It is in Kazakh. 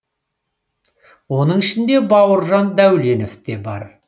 оның ішінде бауыржан дәуленов те бар